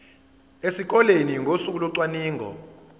esikoleni ngosuku locwaningo